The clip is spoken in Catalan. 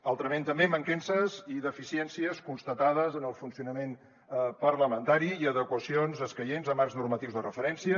altrament també mancances i deficiències constatades en el funcionament parlamentari i adequacions escaients a marcs normatius de referència